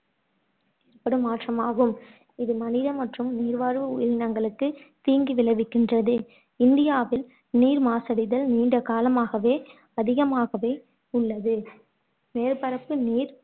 ஏற்படும் மாற்றம் ஆகும் இது மனித மற்றும் நீர்வாழ் உயிரிங்களுக்கு தீங்கு விளைவிக்கின்றது இந்தியாவில் நீர் மாசடைதல் நீண்ட காலமாகவே அதிகமாகவே உள்லது. மேற்பரப்பு நீர்